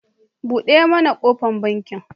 Buɗe mana kofar banki.